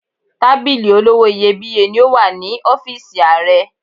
Tábìlì olówó iyebíye ni ó wà ní ọ́fíìsì Ààrẹ.